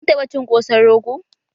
Kin taɓa cin ƙosan rogo?